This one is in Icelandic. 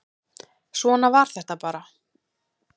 Svona var þetta bara.